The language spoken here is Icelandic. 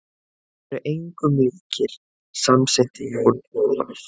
Þeir eru engum líkir, samsinnti Jón Ólafur.